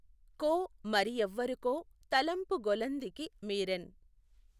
కో మఱి యెవ్వరొకొ తలఁపు గొలఁదికి మీఱెన్.